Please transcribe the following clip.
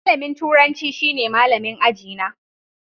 Malamin turanci shine malamin aji na.